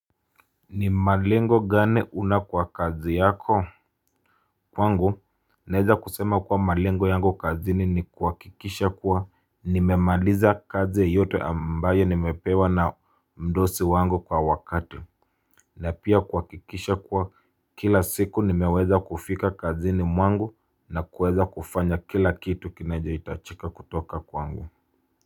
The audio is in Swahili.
Ni malengo gani una kwa kazi yako kwangu. Naeza kusema kuwa malengo yangu kazini ni kuhakikisha kuwa nimemaliza kazi yote ambayo nimepewa na mdosi wangu kwa wakati. Na pia kuhakikisha kuwa kila siku nimeweza kufika kazini mwangu na kuweza kufanya kila kitu kinachohitajika kutoka kwangu.